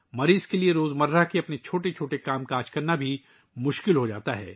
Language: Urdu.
مریض کے لئے روزمرہ کی زندگی کے چھوٹے چھوٹے کام بھی کرنا مشکل ہو جاتا ہے